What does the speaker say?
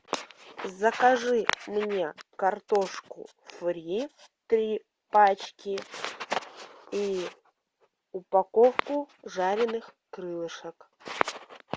закажи мне картошку фри три пачки и упаковку жареных крылышек